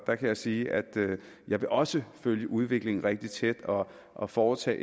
der kan jeg sige at jeg også følge udviklingen rigtig tæt og og foretage